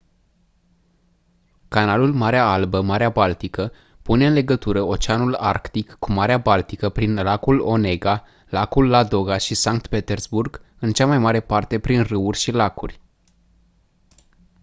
canalul marea albă marea baltică pune în legătură oceanul arctic cu marea baltică prin lacul onega lacul ladoga și sankt petersburg în cea mai mare parte prin râuri și lacuri